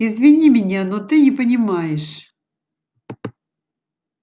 извини меня но ты не понимаешь